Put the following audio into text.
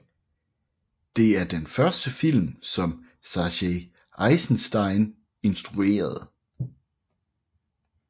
Det er den første film som Sergej Eisenstein instruerede